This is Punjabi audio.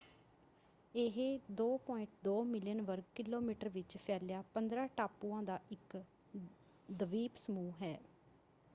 ਇਹ 2.2 ਮਿਲੀਅਨ ਵਰਗ ਕਿਲੋਮੀਟਰ ਵਿੱਚ ਫੈਲਿਆ 15 ਟਾਪੂਆਂ ਦਾ ਇੱਕ ਦਵੀਪ ਸਮੂਹ ਹੈ।